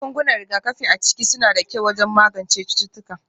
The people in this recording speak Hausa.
Magungunan rigakafi a ciki suna da kyau wajen magance cututtuka